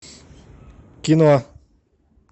кино